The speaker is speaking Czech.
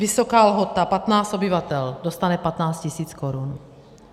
Vysoká Lhota, 15 obyvatel, dostane 15 000 korun.